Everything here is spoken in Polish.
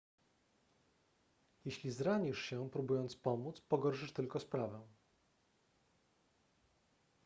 jeśli zranisz się próbując pomóc pogorszysz tylko sprawę